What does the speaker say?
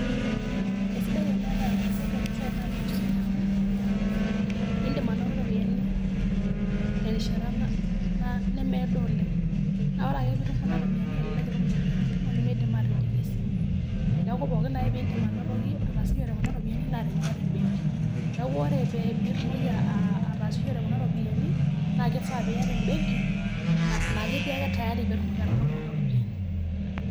Kesidai eniata embeki oropiyiani napulusunyie amuu, iidim anoto iropiyiani terishata nemiado oleng. Naa oore aake peyie eitum kuna ropiyiani iidim anoto iropiyiani kumok nemiidim aatijing' esimu. Niaku pooki ake peyie iidim ataasishore kuna ropiyiani naa teniaata embenki. Niaku ore pee itumoki ataasishore kuna ropiyiani naa kifaa piata embenki, naa ketii aake tayari pee itumoki atang'amu kuna ropiyiani.